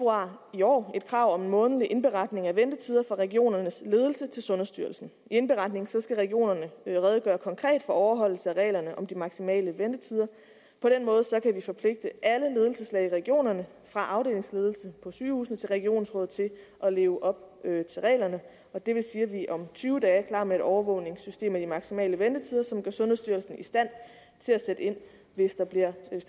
i år et krav om en månedlig indberetning af ventetider fra regionernes ledelse til sundhedsstyrelsen i indberetningen skal regionerne redegøre konkret for overholdelsen af reglerne om de maksimale ventetider på den måde kan vi forpligte alle ledelseslag i regionerne fra afdelingsledelsen på sygehusene til regionsrådet til at leve op til reglerne og det vil sige at vi om tyve dage er klar med et overvågningssystem af de maksimale ventetider som gør sundhedsstyrelsen i stand til at sætte ind hvis der